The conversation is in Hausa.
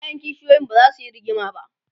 ƴaƴan kishiyoyin bazasu Yi rigima ba